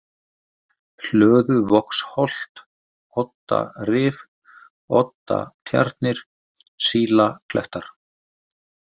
Hlöðuvogsholt, Oddarif, Oddatjarnir, Sílaklettar